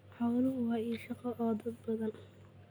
Xooluhu waa il shaqo oo dad badan.